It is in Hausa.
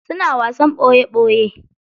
Suna wasan ɓoye ɓoye.